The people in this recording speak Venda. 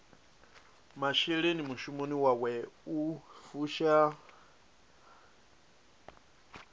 masheleni mushumoni wawe u fusha